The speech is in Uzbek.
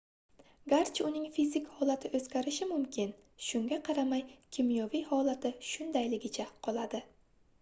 garchi uning fizik holati oʻzgarishi mumkin shunga qaramay kimyoviy holati shundayligicha qoladi